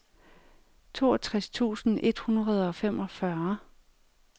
toogtres tusind et hundrede og femogfyrre